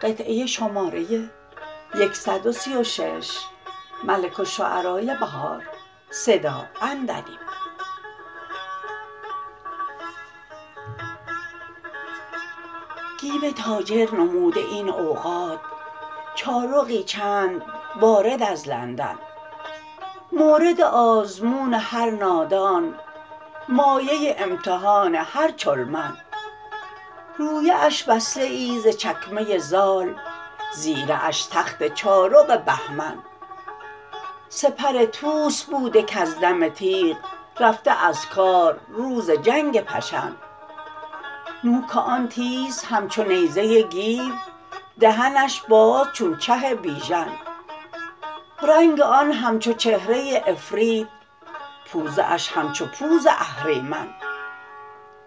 گیو تاجر نموده این اوقات چارقی چند وارد از لندن مورد آزمون هر نادان مایه امتحان هر چلمن رویه اش وصله ای ز چکمه زال زیره اش تخت چارق بهمن سپر طوس بوده کز دم تیغ رفته از کار روز جنگ پشن نوک آن تیز همچو نیزه گیو دهنش باز چون چه بیژن رنگ آن همچو چهره عفریت پوزه اش همچو پوز اهریمن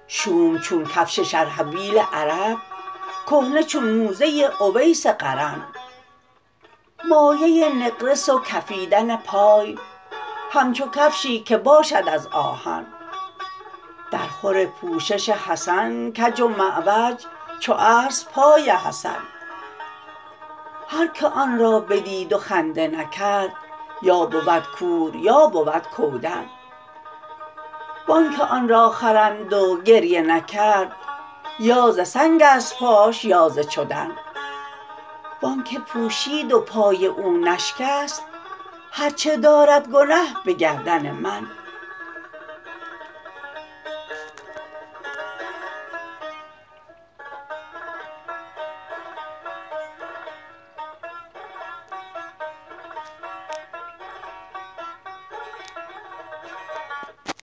شوم چون کفش شرحبیل عرب کهنه چون موزه اویس قرن مایه نقرس و کفیدن پای همچو کفشی که باشد از آهن درخور پوشش حسن کج و معوج چو اصل پای حسن هر که آن را بدید و خنده نکرد یا بود کور یا بود کودن و آنکه آن را خرید و گریه نکرد یا ز سنگ است پاش یا ز چدن و آنکه پوشید و پای او نشکست هرچه دارد گنه به گردن من